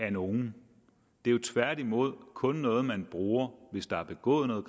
af nogen det er tværtimod kun noget man bruger hvis der er begået noget